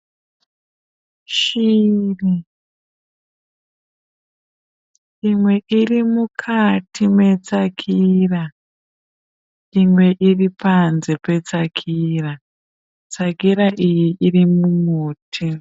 Shiri, imwe iri mukati metsakira imwe iri panze petsakira. Tsakira iyi irimumuti.